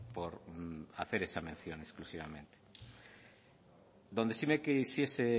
por hacer esa mención exclusivamente donde sí me quisiese